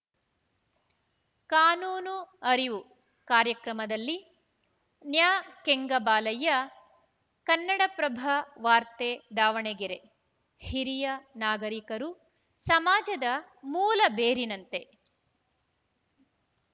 ಕಾನೂನು ಅರಿವು ಕಾರ್ಯಕ್ರಮದಲ್ಲಿ ನ್ಯಾಕೆಂಗಬಾಲಯ್ಯ ಕನ್ನಡಪ್ರಭ ವಾರ್ತೆ ದಾವಣಗೆರೆ ಹಿರಿಯ ನಾಗರಿಕರು ಸಮಾಜದ ಮೂಲ ಬೇರಿನಂತೆ